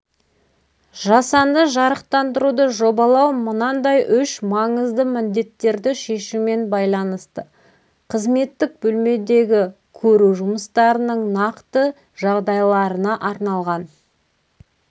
жасанды жарықтандыруды жобалау мынандай үш маңызды міндеттерді шешумен байланысты қызметтік бөлмедегі көру жұмыстарының нақты жағдайларына арналған